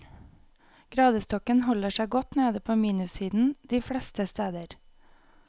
Gradestokken holder seg godt nede på minussiden de fleste steder.